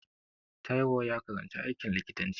Taiwo ya karanci aikin likitanci